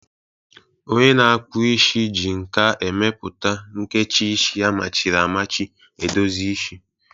Onye na-akpụ isi ji nka emepụta a nkecha isi amachiri amachi edozi isi.